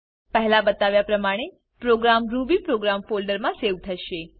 પહેલા બતાવ્યા પ્રમાણે પ્રોગ્રામ રૂબીપ્રોગ્રામ ફોલ્ડરમાં સેવ થશે